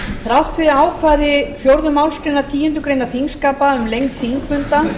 þrátt fyrir ákvæði fjórðu málsgreinar tíundu greinar þingskapa um lengd þingfunda